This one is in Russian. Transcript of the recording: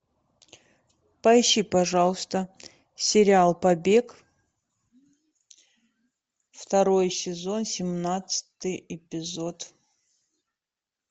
поищи пожалуйста сериал побег второй сезон семнадцатый эпизод